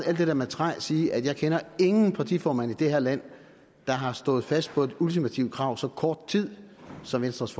alt det der med træ sige at jeg ikke kender nogen partiformand i det her land der har stået fast på et ultimativt krav så kort tid som venstres